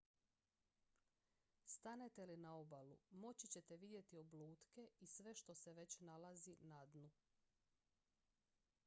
stanete li na obalu moći ćete vidjeti oblutke i sve što se već nalazi na dnu